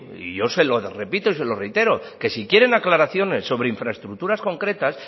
y yo se lo repito y se lo reitero que si quieren aclaraciones sobre infraestructuras concretas